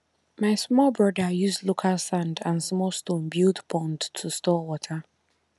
my small brother use local sand and small stone build pond to store water